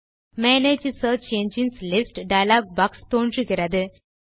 manage search engines list dialog box தோன்றுகிறது